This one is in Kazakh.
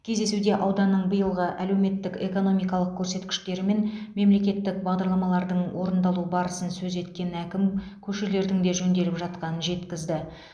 кездесуде ауданның биылғы әлеуметтік экономикалық көрсеткіштері мен мемлекеттік бағдарламалардың орындалу барысын сөз еткен әкім көшелердің де жөнделіп жатқанын жеткізді